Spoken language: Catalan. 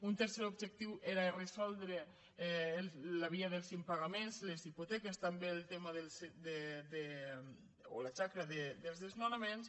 un tercer objectiu era resoldre la via dels impagaments les hipoteques també el tema o la xacra dels desnonaments